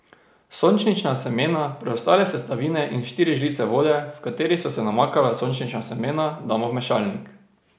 Sončnična semena, preostale sestavine in štiri žlice vode, v kateri so se namakala sončnična semena, damo v mešalnik.